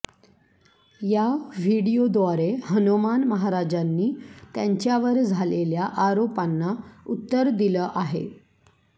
या व्हिडिओद्वारे हनुमान महाराजांनी त्यांच्यावर झालेल्या आरोपांना उत्तर दिलं आहे